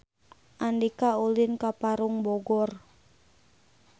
Andika ulin ka Parung Bogor